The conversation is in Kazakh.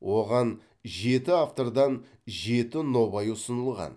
оған жеті автордан жеті нобай ұсынылған